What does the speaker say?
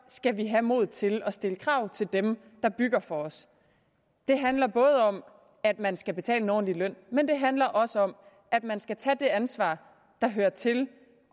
skal vi have modet til at stille krav til dem der bygger for os det handler om at man skal betale en ordentlig løn men det handler også om at man skal tage det ansvar der hører til